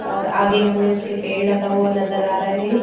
और आगे हमें उसके पेड़ लगा हुआ नजर आ रहा है।